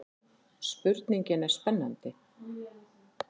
Spurningin er spennandi.